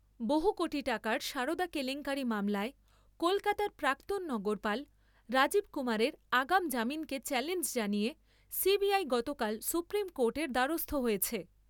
বহু কোটি টাকার সারদা কেলেঙ্কারি মামলায় কলকাতার প্রাক্তণ নগরপাল রাজীব কুমারের আগাম জামিনকে চ্যালেঞ্জ জানিয়ে সিবিআই গতকাল সুপ্রিম কোর্টের দ্বারস্থ হয়েছে।